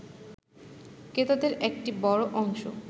ক্রেতাদের একটা বড় অংশ